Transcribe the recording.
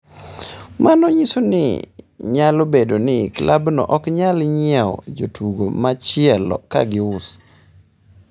Mano nyiso ni nyalo bedo ni klabno ok nyal nyiewo jatugo machielo ka gius.